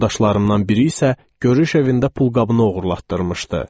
Yoldaşlarımdan biri isə görüş evində pulqabını oğurlatdırmışdı.